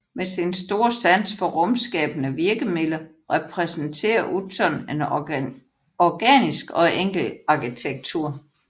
Med sin store sans for rumskabende virkemidler repræsenterer Utzon en organisk og enkel arkitektur